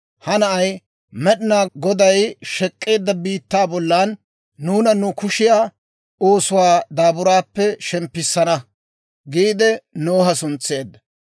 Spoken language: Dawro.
«Ha na'ay Med'inaa Goday shek'k'eedda biittaa bollan nuuna nu kushiyaa oosuwaa daaburaappe shemppissana» giide Noha suntseedda.